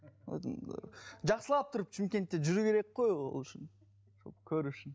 жақсылап тұрып шымкентте жүру керек қой ол үшін көру үшін